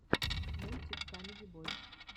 мультик камеди бойс